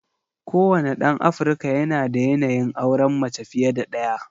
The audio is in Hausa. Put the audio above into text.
Kowane ɗan Afirka yanada yanayin auren mace fiye da ɗaya.